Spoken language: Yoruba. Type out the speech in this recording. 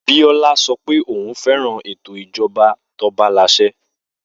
Biola sọ pé òun fẹ́ràn ètò ìjọba tobalàsẹ